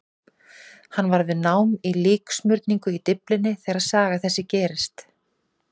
Hann var við nám í líksmurningu í Dyflinni þegar saga þessi gerðist.